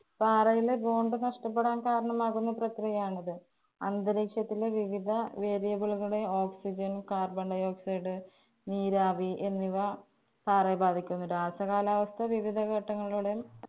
പാറയിലെ bond നഷ്ടപ്പെടാന്‍ കാരണമാകുന്ന പ്രക്രിയാണിത്. അന്തരീക്ഷത്തിലെ വിവിധ variable കളെ Oxygen, carbon dioxide നീരാവി എന്നിവ പാറയെ ബാധിക്കുന്നു. രാസകാലാവസ്ഥ വിവിധ ഘട്ടങ്ങളിലൂടെയും